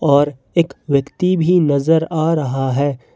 और एक व्यक्ति भी नजर आ रहा है।